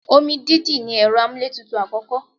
Omi dídì ní ẹ̀rọ amúlétutù àkọ́kọ́.